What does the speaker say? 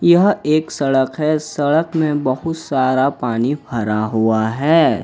यह एक सड़क है सड़क में बहुत सारा पानी भरा हुआ है।